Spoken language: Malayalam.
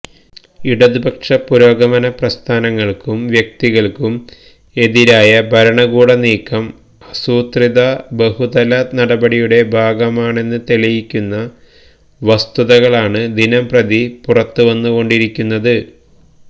ഇടതുപക്ഷ പുരോഗമന പ്രസ്ഥാനങ്ങള്ക്കും വ്യക്തികള്ക്കും എതിരായ ഭരണകൂട നീക്കം ആസൂത്രിത ബഹുതല നടപടിയുടെ ഭാഗമാണെന്ന് തെളിയിക്കുന്ന വസ്തുതകളാണ് ദിനംപ്രതി പുറത്തുവന്നുകൊണ്ടിരിക്കുന്നത്